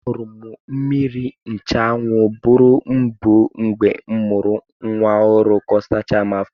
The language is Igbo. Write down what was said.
Aṅụrụ m mmiri nchụanwụ buru ibu mgbe m mụrụ nwa ọhụrụ ka ọ sachaa m afọ.